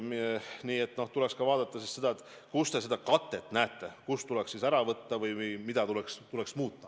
Nii et tuleks siiski selgitada, kus te seda katet näete, kust tuleks raha ära võtta või mida tuleks muuta.